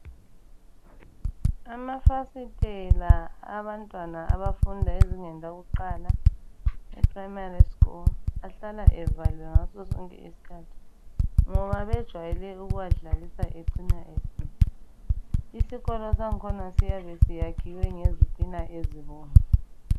Amafasitela abantwana abafundi ezingeni lakuqala eprimary School ahlala evaliwe ngasosonke isikhathi ngoba bejwayele ukuwadlalisa acina esesifa. Isikolo sakhona siyabe sakhiwe ngezitina ezibomvu.